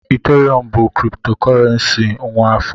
ETH bụ kriptokurrency nwa afọ